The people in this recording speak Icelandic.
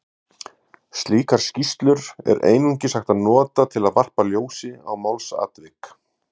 Slíkar skýrslur er einungis hægt að nota til að varpa ljósi á málsatvik.